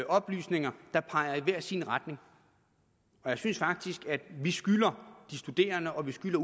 oplysninger der peger i hver sin retning og jeg synes faktisk at vi skylder de studerende og vi skylder